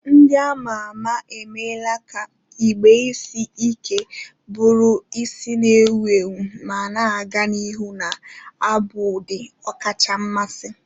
Ndi ama ama emela ka igbe isi ike buru isi na-ewu ewu ma na-aga n'ihu na-abụ ụdị ọkacha mmasị.